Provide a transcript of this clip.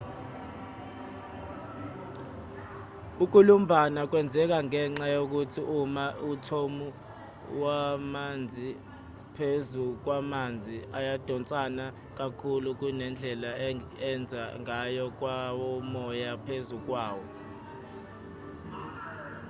ukulumbana kwenzeka ngenxa yokuthi ama-athomu wamanzi phezu kwamanzi ayadonsana kakhulu kunendlela enza ngayo kwawomoya phezu kwawo